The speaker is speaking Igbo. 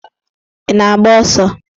Ị na-agba ọsọ?